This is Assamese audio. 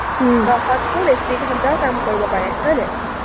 দহতচে বেছি ঘণ্টাও কাম কৰিব পাৰে, হয়নে?